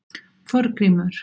Þorgrímur